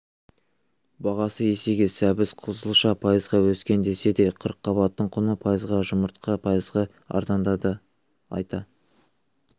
бағасы есеге сәбіз қызылша пайызға өскен десе де қырыққабаттың құны пайызға жұмырқа пайызға арзандады айта